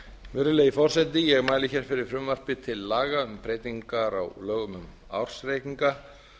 virðulegi forseti ég mæli fyrir frumvarpi til laga um breytingar á lögum um ársreikninga